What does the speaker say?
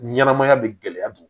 Ɲɛnɛmaya bɛ gɛlɛya don